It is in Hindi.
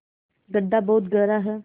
गढ्ढा बहुत गहरा है